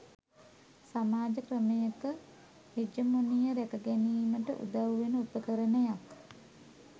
සමාජ ක්‍රමයක හෙජමොනිය රැකගැනීමට උදව් වෙන උපකරණයක්